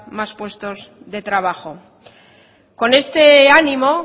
más puestos de trabajo con este ánimo